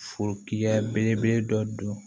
Foya belebele dɔ don